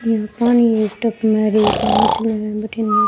यहाँ पे पानी है एक टब में और एक में मछलिया है भटीने।